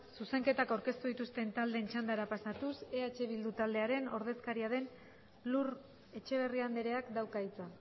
zuzenketak aurkeztu dituzten taldeen txandara pasatuz eh bildu taldearen ordezkaria den lur etxeberria andreak dauka hitza